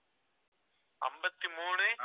ஐம்பத்தி மூணு